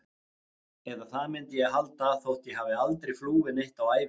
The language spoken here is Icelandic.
Eða það myndi ég halda, þótt ég hafi aldrei flúið neitt á ævinni.